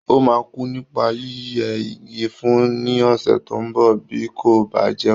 Ó máa kú nípa yíyẹ igi fún ní ọ̀sẹ̀ tó ń bọ̀, bí kò bá jẹ́wọ́.